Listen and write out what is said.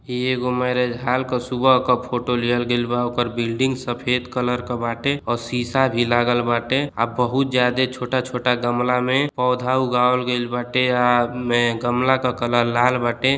ई एगो marriage hall क सुबह क फोटो लिहल गइल बा। ओकर बिल्डिंग सफेद कलर क बाटे और सीसा भी लागल बाटे आ बहुत जादे छोटा छोटा गमला में पौधा उगावल गइल बाटे आ में गमला क कलर लाल बाटे।